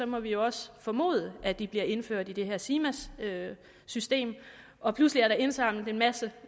må vi også formode at de bliver indført i det her simas system og pludselig er der indsamlet en masse